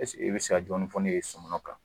Ɛseke i bɛ se ka dɔɔni fɔ ne ye sɔmɔnɔn kan?